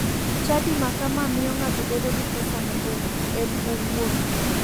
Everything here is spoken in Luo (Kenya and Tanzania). Chadi ma kama miyo ng'ato bedo gi pesane en owuon